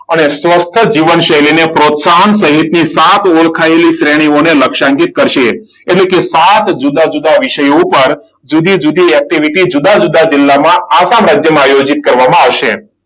અને સ્વચ્છ છે જીવનશૈલીને પ્રોત્સાહન સહિતને સાત ઓળખાયેલી શ્રેણીઓને લક્ષ્યાંકિત કરશે. એટલે કે સાત જુદા જુદા વિષયો પર જુદા-જુદી એક્ટિવિટી જુદા જુદા જિલ્લામાં આસામ રાજ્યમાં આયોજિત કરવામાં આવશે.